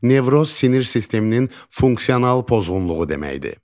Nevroz sinir sisteminin funksional pozğunluğu deməkdir.